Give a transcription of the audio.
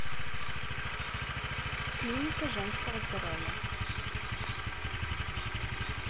клиника женского здоровья